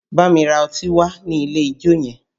Bámi ra ọtí wá nílé ijó yẹn!